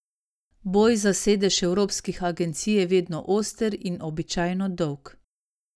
Boj za sedeže evropskih agencij je vedno oster in običajno dolg.